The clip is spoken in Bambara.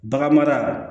Bagan mara